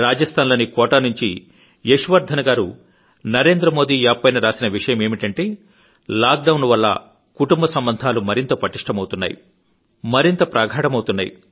రాజస్థాన్ లోని కోటా నుంచి యశ్ వర్ధన్ గారు నరేంద్రమోదీ యాప్ పైన రాసిన విషయమేమిటంటే లాక్ డౌన్ వల్ల కుటుంబ సంబంధాలు మరింత ప్రగాఢమవుతున్నాయి